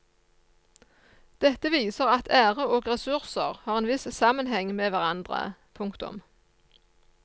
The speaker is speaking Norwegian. Dette viser at ære og ressurser har en viss sammenheng med hverandre. punktum